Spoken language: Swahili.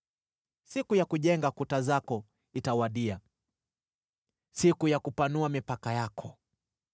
Siku ya kujenga kuta zako itawadia, siku ya kupanua mipaka yako.